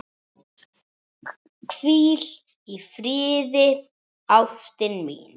Hvíl í friði ástin mín.